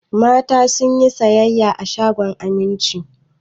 Mata sun yi sayayya a shagon Aminci.